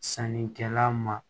Sannikɛla ma